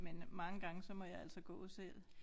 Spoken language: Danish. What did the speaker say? Men mange gange så må jeg altså gå selv